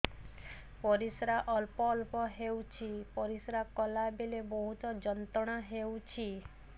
ପରିଶ୍ରା ଅଳ୍ପ ଅଳ୍ପ ହେଉଛି ପରିଶ୍ରା କଲା ବେଳେ ବହୁତ ଯନ୍ତ୍ରଣା ହେଉଛି